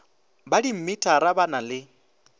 ba dimmitara ba na le